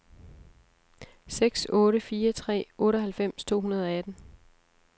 seks otte fire tre otteoghalvfems to hundrede og atten